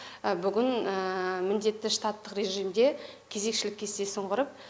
бүгін міндетті штаттық режимде кезекшілік кестесін құрып